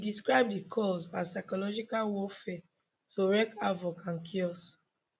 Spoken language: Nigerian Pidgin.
e describe di calls as psychological warfare to wreak havoc and chaos